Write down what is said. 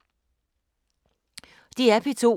DR P2